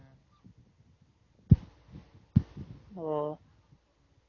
ஓ